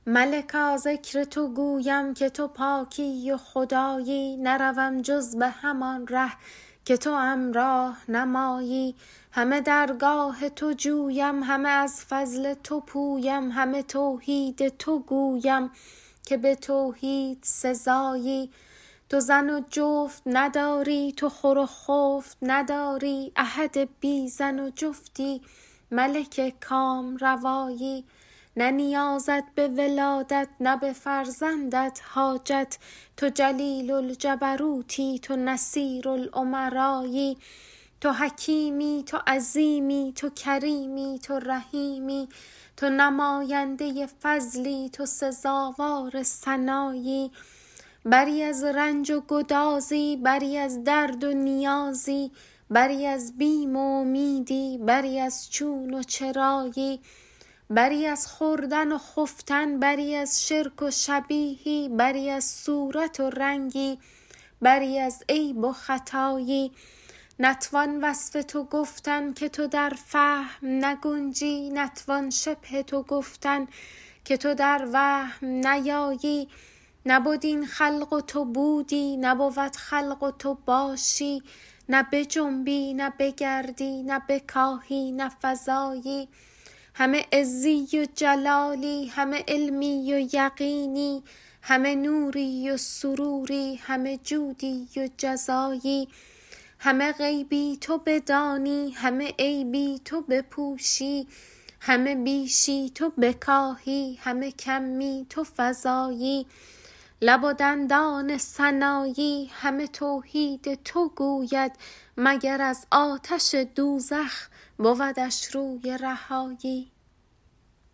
ملکا ذکر تو گویم که تو پاکی و خدایی نروم جز به همان ره که توام راه نمایی همه درگاه تو جویم همه از فضل تو پویم همه توحید تو گویم که به توحید سزایی تو زن و جفت نداری تو خور و خفت نداری احد بی زن و جفتی ملک کامروایی نه نیازت به ولادت نه به فرزندت حاجت تو جلیل الجبروتی تو نصیر الامرایی تو حکیمی تو عظیمی تو کریمی تو رحیمی تو نماینده فضلی تو سزاوار ثنایی بری از رنج و گدازی بری از درد و نیازی بری از بیم و امیدی بری از چون و چرایی بری از خوردن و خفتن بری از شرک و شبیهی بری از صورت و رنگی بری از عیب و خطایی نتوان وصف تو گفتن که تو در فهم نگنجی نتوان شبه تو گفتن که تو در وهم نیایی نبد این خلق و تو بودی نبود خلق و تو باشی نه بجنبی نه بگردی نه بکاهی نه فزایی همه عزی و جلالی همه علمی و یقینی همه نوری و سروری همه جودی و جزایی همه غیبی تو بدانی همه عیبی تو بپوشی همه بیشی تو بکاهی همه کمی تو فزایی احد لیس کمثله صمد لیس له ضد لمن الملک تو گویی که مر آن را تو سزایی لب و دندان سنایی همه توحید تو گوید مگر از آتش دوزخ بودش روی رهایی